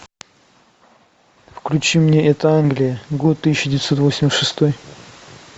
включи мне это англия год тысяча девятьсот восемьдесят шестой